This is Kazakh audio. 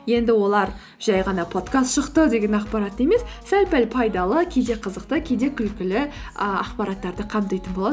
енді олар жай ғана подкаст шықты деген ақпарат емес сәл пәл пайдалы кейде қызықты кейде күлкілі і ақпараттарды қамтитын болады